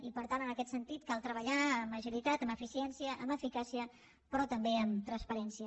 i per tant en aquest sentit cal treballar amb agilitat amb eficiència amb eficàcia però també amb transparència